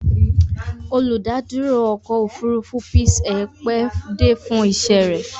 Olùdádúró ọkọ̀-òfurufú Peace Air pẹ́ dé fún iṣẹ́ rẹ̀.